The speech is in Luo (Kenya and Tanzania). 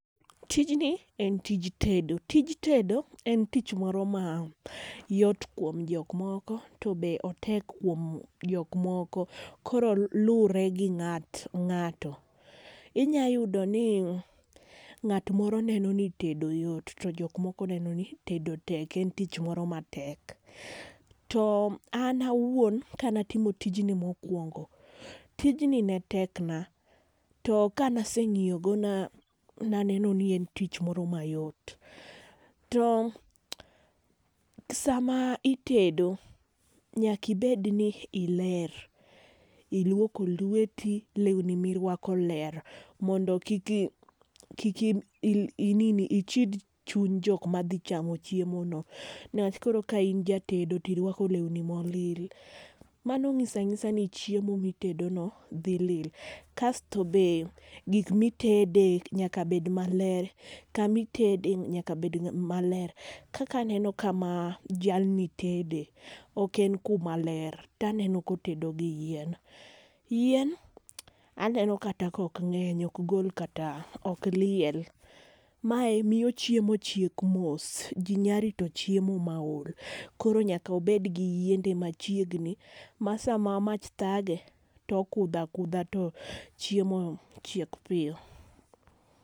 Tijni en tij tedo. Tij tedo en tich moro ma yot kuom jok moko to otek kuom jok moko. Koro luore gi ng'ato be ng'ato. Inya yudo ni ng'at moro neno ni tedo yot to jok moko neno ni tedo tek en tich moro ma tek. To an awuon ka ne atimo tijni mokuongo, tijni ne tek na to ka ne aseng'iyo go ne aneno ni en tich moro ma yot. To saa ma itedo nyaka ibed ni iler, iluoko lweti lewni mi irwako ler mondo kik i nini kik ichid chuny jok ma dhi chamo chiemo no ne wach koro ka in jatedo to irwako lewni ma olil mano ng'iso ang'isa ni chiemo mi itedo no dhi lil. Kasto be gik mi itede nyaka bet ma ler, ka ma itede nyaka bed ma ler ,kaka aneno ka ma jalni tede ok en ku ma ler to aneno ka otedo gi yien, yien aneno kata ka ok ng'eny ok gol kata ok liel mae miyo chiemo chiek mos .Ji nya rito chiemo ma ol, koro nyaka obed gi yiende machiegni ma saa ma mach thage to okudho akudha to chiemo no chiek piyo.